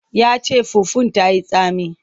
Ya ce fufun ta yi tsami.